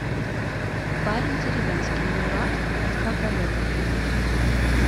парень деревенский мурат тхагалегов